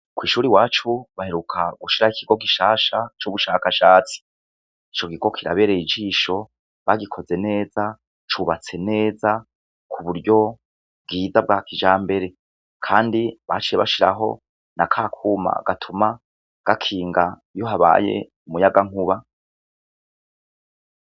Kw'ishure iwacu baheruka gushiraho ikigo gishasha cubushakashatsi ico kigo kirabereye ijisho, bagikoze neza, cubatse neza kuburyo bwiza bwakijambere kandi baciye bashiraho nakakuma gatuma gakinga iyo habaye umuyagankuba.